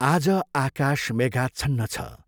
आज आकाश मेघाच्छन्न छ।